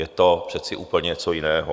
Je to přece úplně něco jiného.